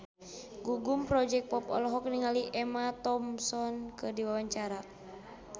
Gugum Project Pop olohok ningali Emma Thompson keur diwawancara